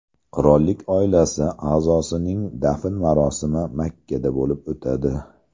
Qirollik oilasi a’zosining dafn marosimi Makkada bo‘lib o‘tadi.